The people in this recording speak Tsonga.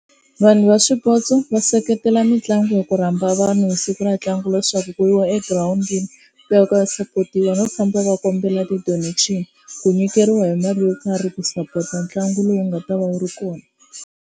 Vanhu va swipotso va seketela mitlangu hi ku rhamba vanhu hi siku ra ntlangu leswaku ku yiwa egirawundini ku ya ku ya support-iwa, no famba va kombela ti-donation ku nyikeriwa hi mali yo karhi ku sapota ntlangu lowu nga ta va wu ri kona.